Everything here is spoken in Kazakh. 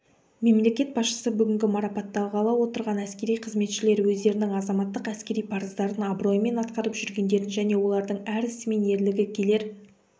мемлекет басшысы бүгінгі марапатталғалы отырған әскери қызметшілер өздерінің азаматтық әскери парыздарын абыроймен атқарып жүргендерін және олардың әр ісі мен ерлігі келер